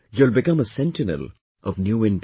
You'll become a sentinel of New India